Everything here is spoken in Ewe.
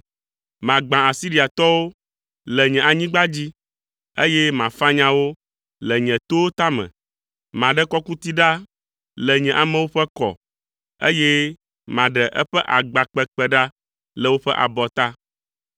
Magbã Asiriatɔwo le nye anyigba dzi, eye mafanya wo le nye towo tame. Maɖe kɔkuti ɖa le nye amewo ƒe kɔ, eye maɖe eƒe agba kpekpe ɖa le woƒe abɔta.”